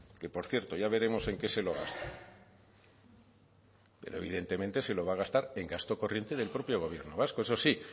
que por cierto ya veremos en qué se lo gasta pero evidentemente se lo va a gastar en gasto corriente del propio gobierno vasco eso sí